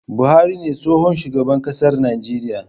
Buhari ne tsohon shugaban ƙasar Nijeriya